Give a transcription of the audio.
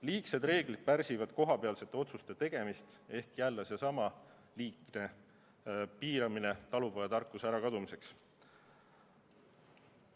Liigsed reeglid pärsivad kohapealsete otsuste tegemist ehk jälle seesama liigne piiramine talupojatarkuse ärakadumiseks.